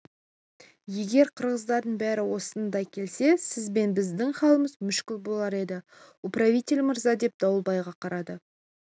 егер киргиздардың бәрі осындай келсе сіз бен біздің халіміз мүшкіл болар еді управитель мырза деп дауылбайға қарады